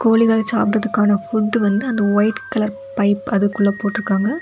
கோழிகள் சாபிடுறதுக்கான ஃபுட் வந்து அந்த ஒயிட் கலர் பைப் அதுக்குள்ள போட்ருக்காங்க.